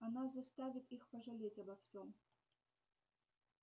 она заставит их пожалеть обо всем